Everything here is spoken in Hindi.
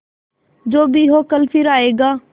जो भी हो कल फिर आएगा